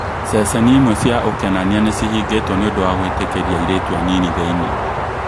Ceceni imwe cia ũkenania nĩcihingĩtwo nĩũndu wa gũĩtĩkĩria airitu anini thĩini